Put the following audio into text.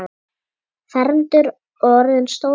Fermdur og orðinn stór maður.